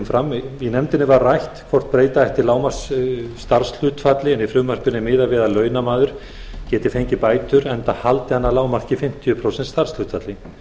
af hendi í nefndinni var rætt hvort breyta ætti lágmarksstarfshlutfalli en í frumvarpinu er miðað við að launamaður geti fengið bætur enda haldi hann að lágmarki fimmtíu prósent starfshlutfalli